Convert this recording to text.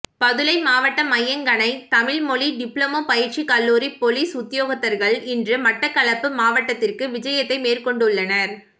பதுளை மாவட்ட மையங்கனை தமிழ் மொழி டிப்ளோமா பயிற்சிக் கல்லூரி பொலிஸ் உத்தியோகத்தர்கள் இன்று மட்டக்களப்பு மாவட்டத்திற்குவிஜயத்தை மேற்கொண்டுள்ளனர்